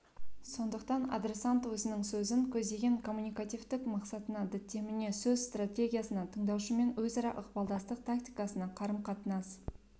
сондықтан адресант өзінің сөзін көздеген коммуникативтік мақсатына діттеміне сөз стратегиясына тыңдаушымен өзара ықпалдастық тактикасына қарым-қатынас